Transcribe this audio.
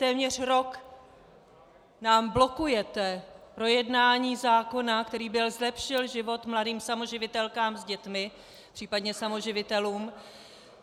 Téměř rok nám blokujete projednání zákona, který by zlepšil život mladým samoživitelkám s dětmi, případně samoživitelům.